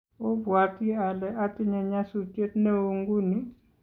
obwoti ale atinye nyasutiet neoo nguni